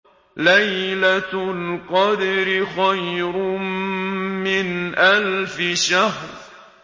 لَيْلَةُ الْقَدْرِ خَيْرٌ مِّنْ أَلْفِ شَهْرٍ